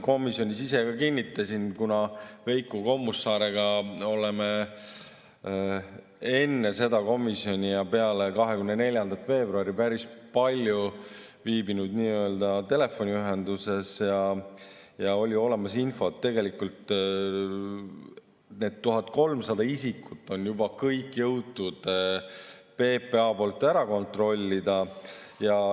Komisjonis ma ise ka kinnitasin, kuna Veiko Kommusaarega oleme enne seda komisjoni ja peale 24. veebruari päris palju olnud telefoniühenduses ja oli olemas infot, et need 1300 isikut on juba kõik jõudnud PPA ära kontrollida.